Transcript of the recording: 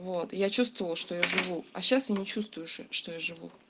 вот и я чувствовала что я живу а сейчас я не чувствую что я живу